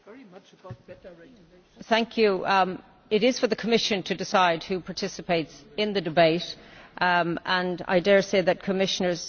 It is for the Commission to decide who participates in the debate and I dare say that Commissioners, when they are here, speak on behalf of the Commission.